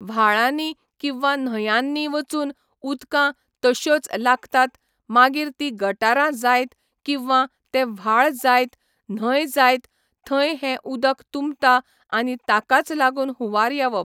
व्हाळांनी किंवा न्हंयानी वचून उदकां तश्योच लागतात मागीर ती गटारां जायत किंवा तें व्हाळ जायत न्हंय जायत थंय हे उदक तुंबता आनी ताकाच लागून हुंवार येवप